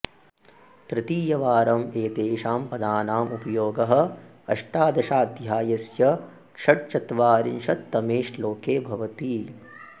तृतीयवारम् एतेषां पदानाम् उपयोगः अष्टादशाध्यायस्य षट्चत्वारिंशत्तमे श्लोके भवति